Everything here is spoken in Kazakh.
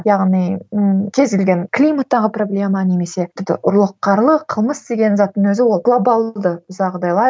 яғни ыыы кез келген климаттағы проблема немесе тіпті ұрлық қарлық қылмыс деген заттың өзі ол глобалды жағдайлар